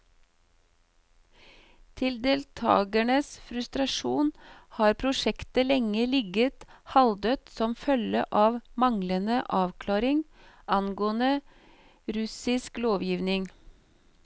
Til deltagernes frustrasjon har prosjektet lenge ligget halvdødt som følge av manglende avklaring angående russisk lovgivning.